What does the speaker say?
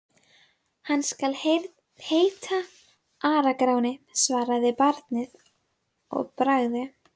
Hann skal heita Ara-Gráni, svaraði barnið að bragði.